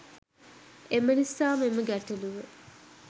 එම නිසා මෙම ගැටළුව